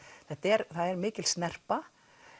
það er mikil snerpa